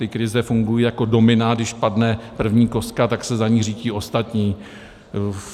Ty krize fungují jako domino, když padne první kostka, tak se za ní řítí ostatní.